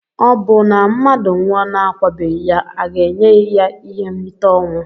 Obụ na mmadu nwụọ na akwabeghi ya aga enye ya ihe nrita ọnwụ?